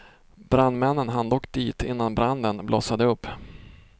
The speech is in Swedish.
Brandmännen hann dock dit innan branden blossade upp.